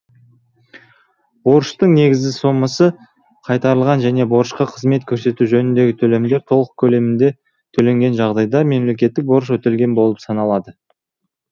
борыштың негізгі сомасы қайтарылған және борышқа қызмет көрсету жөніндегі төлемдер толық көлемінде төленген жағдайда мемлекеттік борыш өтелген болып саналады